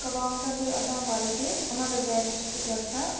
Qabağımda bir adam var idi, ona da dəymişdi qəlpə.